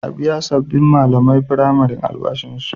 A biya sabbin malaman firamare albashinsu.